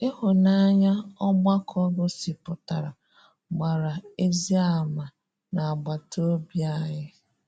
Ị́hụ́nanya ọgbakọ́ gosipụtarà gbàrà ezi àmà n’agbàtà ọ́bị̀ anyị.